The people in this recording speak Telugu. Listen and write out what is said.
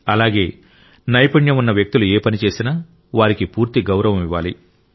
అలాగే నైపుణ్యం ఉన్న వ్యక్తులు ఏ పని చేసినా వారికి పూర్తి గౌరవం ఇవ్వాలి